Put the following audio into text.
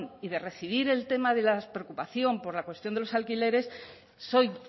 y de recibir el tema de la preocupación por la cuestión de los alquileres soy